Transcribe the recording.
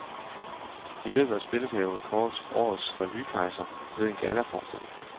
I løbet af spilleperioden kåres årets revykejser ved en gallaforestilling.